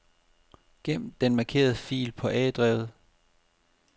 Gem den markerede fil på A-drevet.